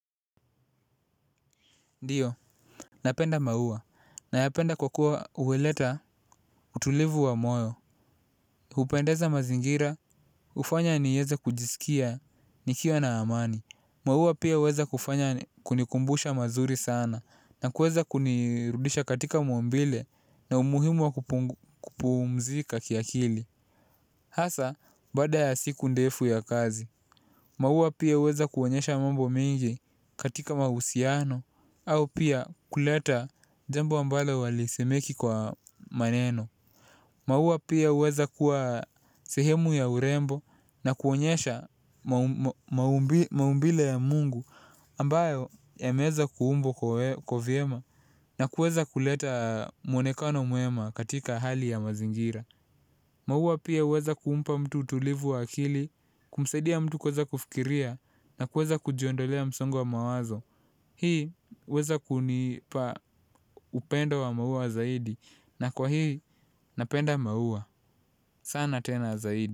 Ndio, napenda maua, nayapenda kwa kuwa huleta utulivu wa moyo. Hupendeza mazingira, hufanya niweze kujisikia nikiwa na amani. Maua pia huweza kufanya kunikumbusha mazuri sana na kuweza kunirudisha katika maumbile na umuhimu wa kupumzika kiakili. Hasa, baada ya siku ndefu ya kazi. Maua pia huweza kuonyesha mambo mingi katika mahusiano. Au pia kuleta jambo ambalo halisemeki kwa maneno. Maua pia huweza kuwa sehemu ya urembo na kuonyesha maumbile ya mungu ambayo yameweza kuumbwa kwa vyema na kuweza kuleta mwonekano mwema katika hali ya mazingira. Maua pia huweza kumpa mtu utulivu wa akili. Kumsadia mtu kuweza kufikiria. Na kuweza kujiondolea msongo wa mawazo. Hii huweza kunipa upendo wa maua zaidi na kwa hii napenda maua sana tena zaidi.